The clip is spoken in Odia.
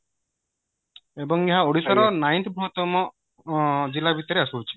ଏବଂ ଏହା ଓଡିଶା ର ନାଇନଟି ତମ ଜିଲ୍ଲା ଭିତରେ ଆସୁଅଛି